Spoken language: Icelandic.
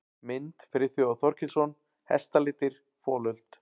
Mynd: Friðþjófur Þorkelsson: Hestalitir- folöld.